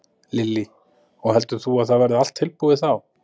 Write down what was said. Lillý: Og heldur þú að það verði allt tilbúið þá?